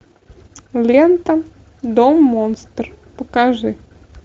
лента дом монстр покажи